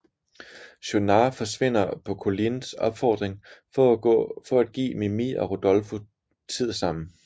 Schaunard forsvinder på Collines opfordring for at give Mimì og Rodolfo tid sammen